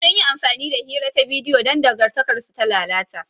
Sun yi amfani da hira ta bidiyo don dangantakarsu ta lalata.